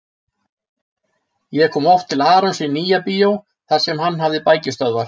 Ég kom oft til Arons í Nýja-bíó þar sem hann hafði bækistöðvar.